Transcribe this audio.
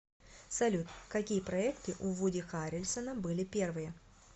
салют какие проекты у вуди харрельсона были первые